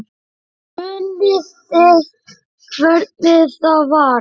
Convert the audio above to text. Munið þið hvernig það var?